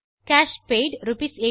cash paid ஆர்எஸ்89